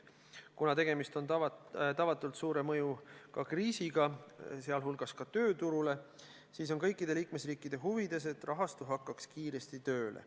Kuna tegemist on tavatult suure mõjuga kriisiga, sh mõju tööturule, siis on kõikide liikmesriikide huvides, et rahastu hakkaks kiiresti tööle.